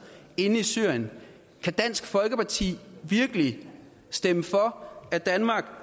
inde i syrien kan dansk folkeparti virkelig stemme for at danmark